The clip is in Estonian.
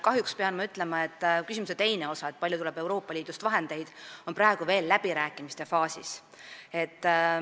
Kahjuks pean ütlema, et mis puutub küsimuse teise osasse, kui palju tuleb Euroopa Liidust vahendeid, on praegu veel läbirääkimised käimas.